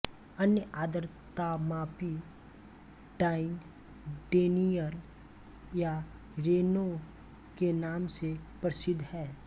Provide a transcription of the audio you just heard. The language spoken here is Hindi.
अन्य आर्द्रतामापी डाइन डेनियल या रेनो के नाम से प्रसिद्ध हैं